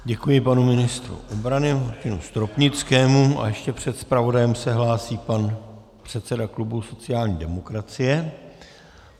Děkuji panu ministrovi obrany Martinu Stropnickému a ještě před zpravodajem se hlásí pan předseda klubu sociální demokracie.